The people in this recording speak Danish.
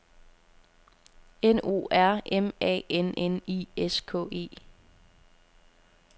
N O R M A N N I S K E